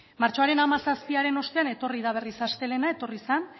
martxoaren hamazazpiaren ostean etorri da berriz astelehena etorri zen